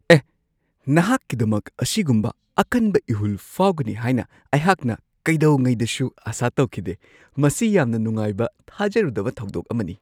ꯑꯦꯍ! ꯑꯩꯍꯥꯛꯅ ꯑꯁꯤꯒꯨꯝꯕ ꯑꯀꯟꯕ ꯏꯍꯨꯜ ꯐꯥꯎꯒꯅꯤ ꯍꯥꯏꯅ ꯑꯩꯅ ꯀꯩꯗꯧꯉꯩꯗꯁꯨ ꯑꯥꯁꯥ ꯇꯧꯈꯤꯗꯦ꯫ ꯃꯁꯤ ꯌꯥꯝꯅ ꯅꯨꯡꯉꯥꯏꯕ ꯊꯥꯖꯔꯨꯗꯕ ꯊꯧꯗꯣꯛ ꯑꯃꯅꯤ꯫